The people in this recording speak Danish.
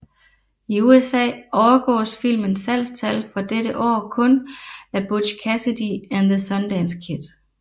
I USA overgås filmens salgstal for dette år kun af Butch Cassidy and the Sundance Kid